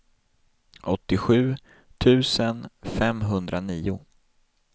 åttiosju tusen femhundranio